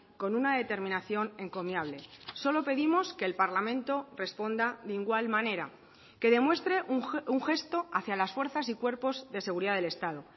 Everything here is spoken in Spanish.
con una determinación encomiable solo pedimos que el parlamento responda de igual manera que demuestre un gesto hacia las fuerzas y cuerpos de seguridad del estado